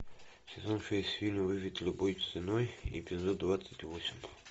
сезон шесть фильм выжить любой ценой эпизод двадцать восемь